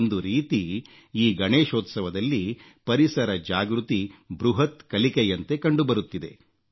ಒಂದು ರೀತಿ ಈ ಗಣೇಶೋತ್ಸವದಲ್ಲಿ ಪರಿಸರ ಜಾಗೃತಿ ಬೃಹತ್ ಕಲಿಕೆಯಂತೆ ಕಂಡುಬರುತ್ತಿದೆ